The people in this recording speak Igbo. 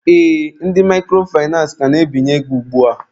Ee, ndị microfinace ka na-ebinye ego ugbua.